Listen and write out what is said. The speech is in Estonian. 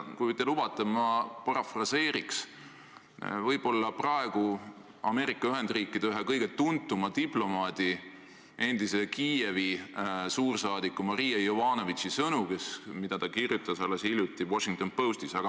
Kui te lubate, ma parafraseerin praegu Ameerika Ühendriikide ühe kõige tuntuma diplomaadi, endise Kiievi suursaadiku Marie Yovanovitchi sõnu, mida võis alles hiljuti lugeda Washington Postist.